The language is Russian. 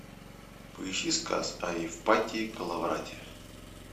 поищи сказ о евпатии коловрате